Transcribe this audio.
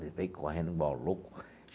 Ele veio correndo igual um louco.